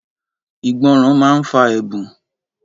Ìgbọràn máa ń fa ẹ̀bùn